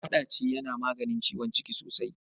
Maɗaci yana maganin ciwon ciki sosai.